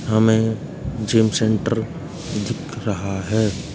हमें gym centre दिख रहा है।